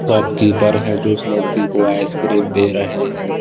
Shopkeeper है जो उस लड़की को इसे आइसक्रीम दे रहे हैं।